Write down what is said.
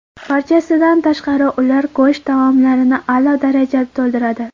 Barchasidan tashqari, ular go‘sht taomlarini a’lo darajada to‘ldiradi.